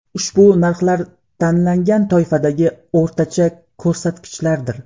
Ushbu narxlar tanlangan toifadagi o‘rtacha ko‘rsatkichlardir.